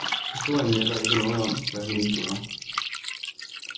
Historien melder ikke noget om, hvad hunden gjorde.